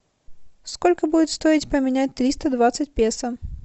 сколько будет стоить поменять триста двадцать песо